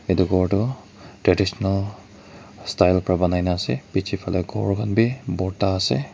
etu ghor tu traditional style pora panaikina ase bechi fali ghor kan bi borta ase.